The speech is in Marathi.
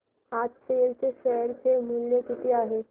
आज सेल चे शेअर चे मूल्य किती आहे